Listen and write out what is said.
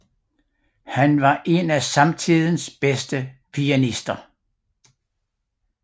Han var en af samtidens bedste pianister